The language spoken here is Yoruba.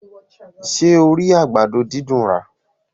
Ṣé o rí àgbàdo dídùn rà?